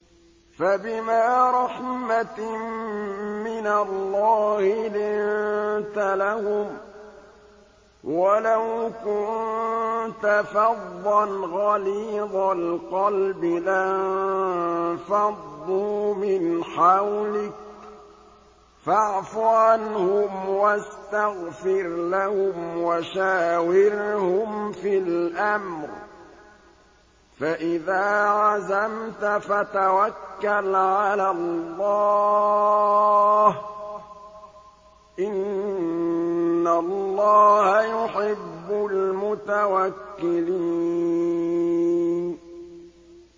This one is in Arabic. فَبِمَا رَحْمَةٍ مِّنَ اللَّهِ لِنتَ لَهُمْ ۖ وَلَوْ كُنتَ فَظًّا غَلِيظَ الْقَلْبِ لَانفَضُّوا مِنْ حَوْلِكَ ۖ فَاعْفُ عَنْهُمْ وَاسْتَغْفِرْ لَهُمْ وَشَاوِرْهُمْ فِي الْأَمْرِ ۖ فَإِذَا عَزَمْتَ فَتَوَكَّلْ عَلَى اللَّهِ ۚ إِنَّ اللَّهَ يُحِبُّ الْمُتَوَكِّلِينَ